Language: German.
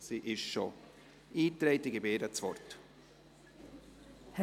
Sie wird von Andrea Zryd vertreten.